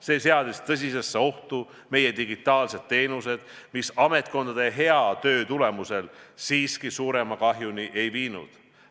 See seadis tõsisesse ohtu meie digitaalsed teenused, ent tänu ametkondade heale tööle siiski suuremat kahju ei tekkinud.